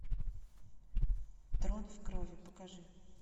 трон в крови покажи